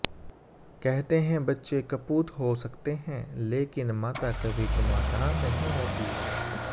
कहते हैं बच्चे कपूत हो सकते हैं लेकिन माता कभी कुमाता नहीं होती